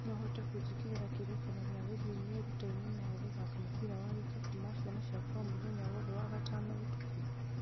no ũhote kũnjĩkĩrĩra kĩririkania gĩa gũthiĩ merutĩra-inĩ ma gũthaka mũbira wa gĩkabu ma ciana ciakwa o mũthenya wothe wa gatano ũtukũ